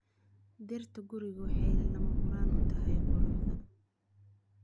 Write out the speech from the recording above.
Dhirta gurigu waxay lama huraan u tahay quruxda.